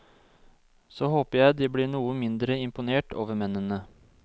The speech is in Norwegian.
Så håper jeg de blir noe mindre imponert over mennene.